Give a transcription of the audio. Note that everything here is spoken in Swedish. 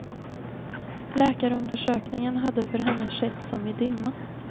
Läkarundersökningen hade för henne skett som i dimma.